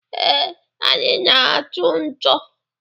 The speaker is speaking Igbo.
Ee, anyị na-atụ ǹchò.